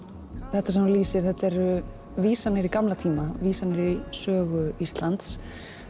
þetta sem þú lýsir þetta eru vísanir í gamla tíma vísanir í sögu Íslands